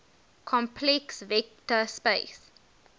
complex vector space